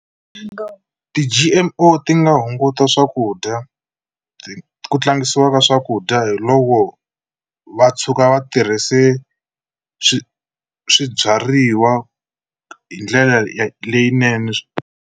Ti-G_M_O ti nga hunguta swakudya ku tlangisiwa ka swakudya hi loko va tshuka va tirhise swi swibyariwa hi ndlela leyinene.